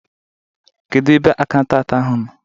Kedu ebe akaụntanti ahụ nọ?